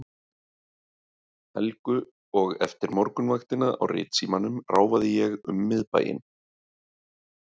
Helgu og eftir morgunvaktina á Ritsímanum ráfaði ég um miðbæinn.